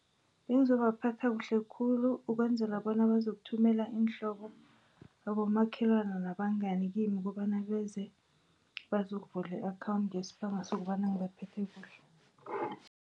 Bengizobaphatha kuhle khulu ukwenzela bona bazokuthumela iinhlobo, abomakhelana nabangani kimi nokobana beze bazokuvula i-akhawundi ngesibanga sokobana ngibaphethe kuhle.